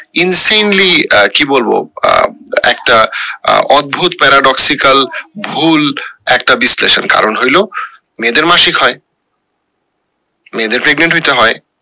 in similarly আহ কি বলবো আহ একটা আহ অদ্ভুত paradoxical ভুল একটা বিশ্লেষণ কারণ হইলো মেয়েদের মাসিক হয় মেয়েদর pregnant হইতে হয়